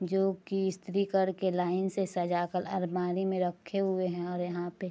जो की इस्त्री करके लाइन से सजाकर अलमारी में रखें हुए हैं और यहाँ पे --